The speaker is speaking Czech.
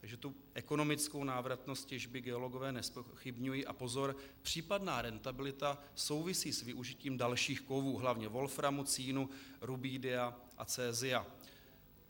Takže tu ekonomickou návratnost těžby geologové nezpochybňují - a pozor, případná rentabilita souvisí s využitím dalších kovů, hlavně wolframu, cínu, rubidia a cesia.